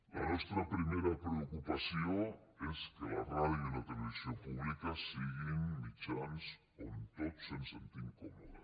la nostra primera preocupació és que la ràdio i la televisió públiques siguin mitjans on tots ens sentim còmodes